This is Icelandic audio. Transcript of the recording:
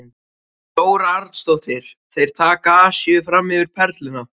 Þóra Arnórsdóttir: Þeir taka Asíu fram yfir Perluna?